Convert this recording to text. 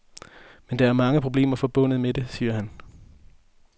Men der er mange problemer forbundet med det, siger han.